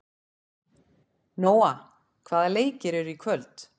Nóa, hvaða leikir eru í kvöld?